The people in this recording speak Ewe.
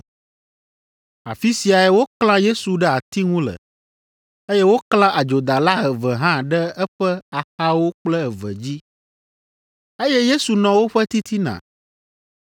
Afi siae woklã Yesu ɖe ati ŋu le, eye woklã adzodala eve hã ɖe eƒe axawo kple eve dzi, eye Yesu nɔ woƒe titina.